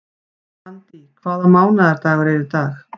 Randý, hvaða mánaðardagur er í dag?